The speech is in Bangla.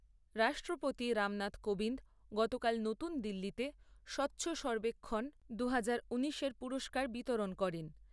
রাষ্ট্রপতি রামনাথ কোবিন্দ গতকাল নতুন দিল্লিতে স্বচ্ছ সর্বেক্ষণ দুহাজার ঊনিশের পুরস্কার বিতরণ করেন।